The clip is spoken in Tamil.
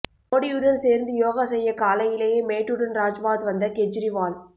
மோடியுடன் சேர்ந்து யோகா செய்ய காலையிலேயே மேட்டுடன் ராஜ்பாத் வந்த கெஜ்ரிவால்